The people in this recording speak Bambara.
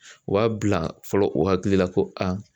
U b'a bila fɔlɔ u hakili la ko